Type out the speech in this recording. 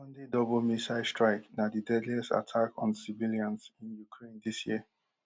sunday double missile strike na di deadliest attack on civilians in ukraine dis year